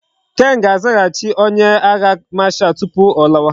Ken ga azaghachi onye agha marshal tupu o lawa